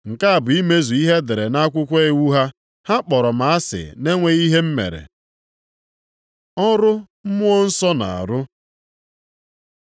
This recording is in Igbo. Nke a bụ imezu ihe e dere nʼakwụkwọ iwu ha. ‘Ha kpọrọ m asị na-enweghị ihe m mere.’ + 15:25 \+xt Abụ 35:19; 69:4\+xt* Ọrụ Mmụọ nsọ na-arụ